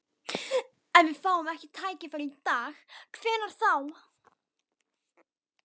Ef við fáum ekki tækifærið í dag, hvenær þá?